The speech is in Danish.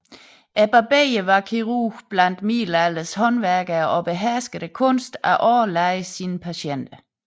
Barberen var kirurgen blandt middelalderens håndværkere og beherskede kunsten at årelade sine patienter